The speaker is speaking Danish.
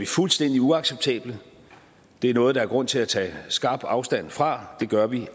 fuldstændig uacceptable det er noget der er grund til at tage skarpt afstand fra det gør vi